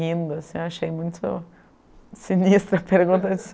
Rindo, assim, eu achei muito sinistra a pergunta.